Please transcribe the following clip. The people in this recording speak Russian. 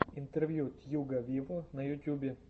интервью тьюга виво на ютюбе